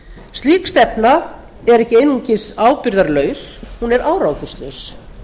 slík stefna er ekki einungis ábyrgðarlaus hún er árangurslaus